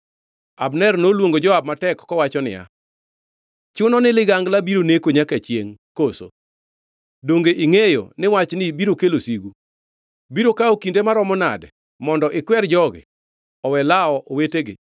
Abner noluongo Joab matek kowacho niya, “Chuno ni ligangla biro neko nyaka chiengʼ koso? Donge ingʼeyo ni wachni biro kelo sigu? Biro kawo kinde maromo nade mondo ikwer jogi owe lawo owetegi?”